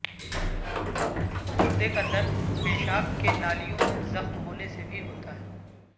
گردے کا درد پیشاب کے نالیوں میں زخم ہونے سے بھی ہوتا ہے